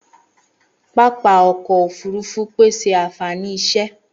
Pápá ọkọ òfurufú pèsè ànfàní iṣẹ.